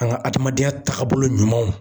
An ka adamadenya taabolo ɲumanw.